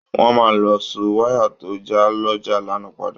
Wọ́n máa lọ so wáyà tó já lọ́jà lánàá padà